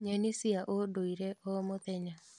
Nyeni cia ũndũire o mũthenya